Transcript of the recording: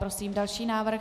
Prosím další návrh.